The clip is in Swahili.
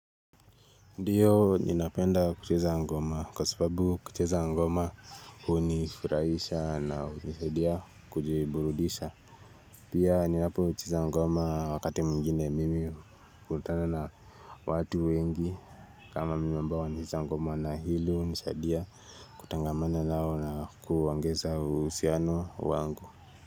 Ndiyo ninapenda kucheza ngoma kwa sababu kucheza ngoma hu nifurahisha na nisadia kujiburudisha. Pia ninapo cheza ngoma wakati mwingine mimi hukutana na watu wengi kama mimi ambao wanacheza ngoma na hilo nishadia kutangamanda na huo na kuangeza huusiano wangu.